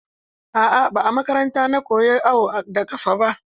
A'a, ba a makaranta na koya awo da ƙafa ba.